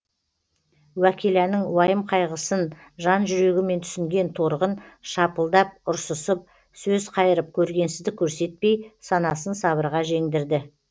уәкиланың уайым қайғысын жан жүрегімен түсінген торғын шапылдап ұрсысып сөз қайырып көргенсіздік көрсетпей санасын сабырға жеңдірді